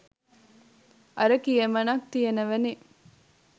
අර කියමනක් තියනවනෙ